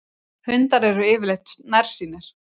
hundar eru yfirleitt nærsýnir